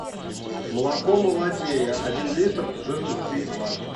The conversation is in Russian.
молоко молодея один литр жирность три и два